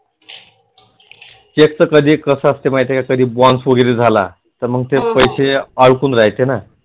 check च कधी कसअसते माहिती आहे का कधी bounce वगैरे झाला तर मग ते पैसे अडकुन राहायचे ना